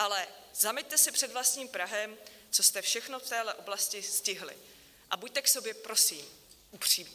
Ale zameťte si před vlastním prahem, co jste všechno v téhle oblasti stihli, a buďte k sobě prosím upřímní.